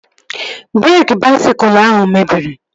Breeki baisikụl ahụ mebiri